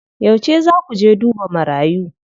Yauce zaa ku je duba marayu?